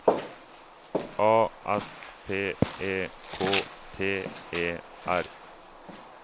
A S P E K T E R